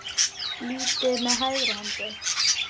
litið með hægri hendi.